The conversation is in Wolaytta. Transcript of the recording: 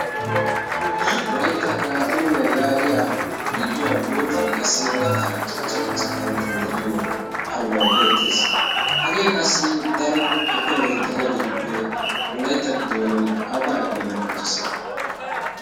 wolaytta iraadooniyaa yaagiya gidduwaara boottan qassi gadaara cachcha cachchaa karettai de'iyo arumay beettees. hagee qassi daro epeemeti de'iyaageetuppe wolaitta gidon awugaa epeeme qonchchii?